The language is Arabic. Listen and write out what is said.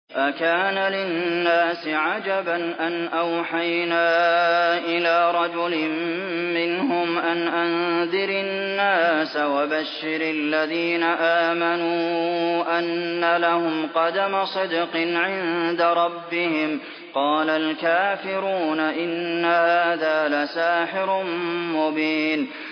أَكَانَ لِلنَّاسِ عَجَبًا أَنْ أَوْحَيْنَا إِلَىٰ رَجُلٍ مِّنْهُمْ أَنْ أَنذِرِ النَّاسَ وَبَشِّرِ الَّذِينَ آمَنُوا أَنَّ لَهُمْ قَدَمَ صِدْقٍ عِندَ رَبِّهِمْ ۗ قَالَ الْكَافِرُونَ إِنَّ هَٰذَا لَسَاحِرٌ مُّبِينٌ